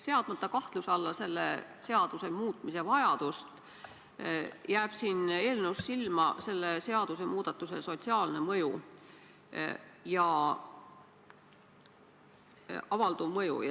Seadmata kahtluse alla seaduse muutmise vajadust, jääb siin eelnõus silma selle seadusemuudatuse avalduv sotsiaalne mõju.